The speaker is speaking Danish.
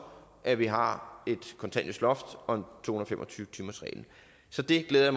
at vi har kontanthjælpsloftet og to hundrede og fem og tyve timersreglen så det glæder